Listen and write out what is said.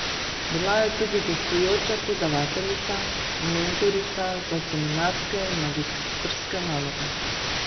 Bila je tudi gostujoča predavateljica, mentorica za seminarske in magistrske naloge.